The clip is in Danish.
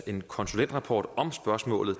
en konsulentrapport om spørgsmålet